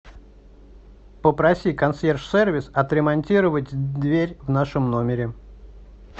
попроси консьерж сервис отремонтировать дверь в нашем номере